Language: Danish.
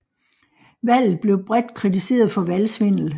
Valget blev bredt kritiseret for valgsvindel